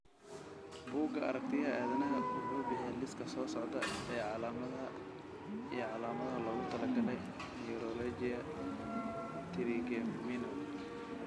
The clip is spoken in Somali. Bugga Aaragtiyaha Aadanaha wuxuu bixiyaa liiska soo socda ee calaamadaha iyo calaamadaha loogu talagalay neuralgia Trigeminal.